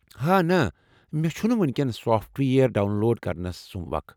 ہا نہٕ! مےٚ چُھنہٕ وو٘نۍ کٮ۪ن سافٹ وییر ڈاون لوڈ کرنس سُمب وخ ۔